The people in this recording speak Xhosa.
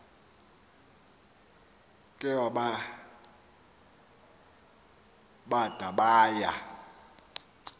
ke bada baya